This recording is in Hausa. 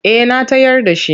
Eh na tayar da its.